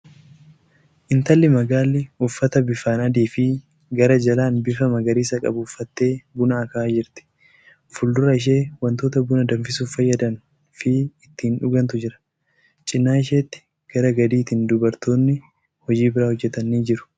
Intalli magaalli uffata bifaan adii fi gara jalaan bifa magariisa qabu uffattee buna akaahaa jirti. Fuuldura ishee wantoota buna danfisuuf fayyadan fi ittin dhugantu jira. Cinaa isheetti gara gadiitiin dubartooti hojii biraa hojjatan ni jiru.